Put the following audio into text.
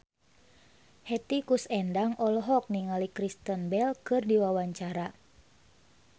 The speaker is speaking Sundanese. Hetty Koes Endang olohok ningali Kristen Bell keur diwawancara